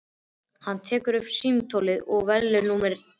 Hann tekur upp símtólið og velur númerið.